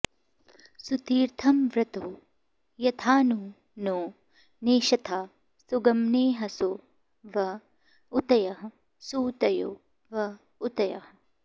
सु॒ती॒र्थमर्व॑तो य॒थानु॑ नो नेषथा सु॒गम॑ने॒हसो॑ व ऊ॒तयः॑ सुऊ॒तयो॑ व ऊ॒तयः॑